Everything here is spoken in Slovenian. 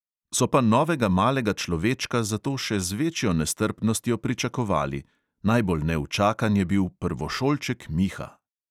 So pa novega malega človečka zato še z večjo nestrpnostjo pričakovali – najbolj neučakan je bil prvošolček miha.